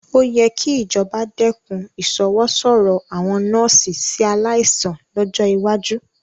Ó yẹ kí ìjọba dẹ́kun ìṣọwọ́sọ̀rọ̀ àwọn nọ́ọ́sì sí aláìsàn lọ́jọ́ iwájú